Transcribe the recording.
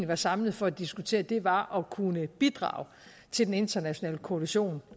var samlet for at diskutere var at kunne bidrage til den internationale koalition